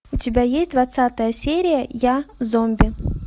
у тебя есть двадцатая серия я зомби